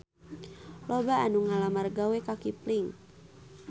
Loba anu ngalamar gawe ka Kipling